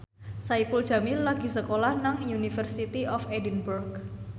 Saipul Jamil lagi sekolah nang University of Edinburgh